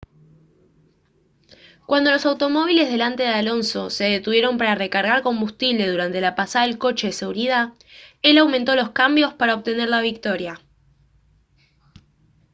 cuando los automóviles delante de alonso se detuvieron para recargar combustible durante la pasada del coche de seguridad él aumentó los cambios para obtener la victoria